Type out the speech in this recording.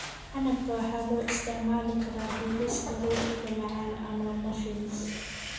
Canabka waxaa loo isticmaali karaa dubista rootiga macaan ama muffins.